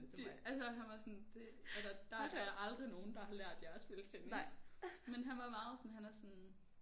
Det altså han var sådan det altså der er aldrig nogen der har lært jer at spille tennis. Men han var meget sådan han er sådan